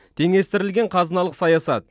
теңестірілген қазыналық саясат